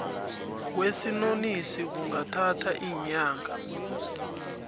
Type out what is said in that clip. kwesinonisi kungathatha iinyanga